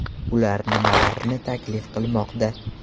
Ular nimalarni taklif qilmoqda?